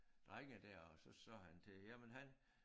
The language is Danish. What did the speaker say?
Drenge der og så sagde han til jamen han